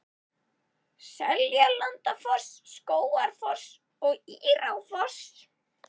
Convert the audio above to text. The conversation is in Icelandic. Seljalandsfoss, Skógafoss og Írárfoss.